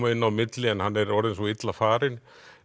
inn á milli en hann er orðinn svo illa farinn